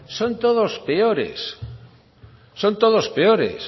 son todos peores son todos peores